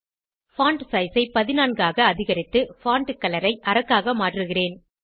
font size ஐ 14 ஆக அதிகரித்து பான்ட் கலர் ஐ அரக்காக மாற்றுகிறேன்